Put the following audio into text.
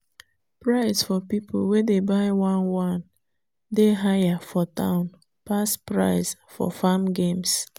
price for people wey dey buy one one dey higher for town pass price for farm games.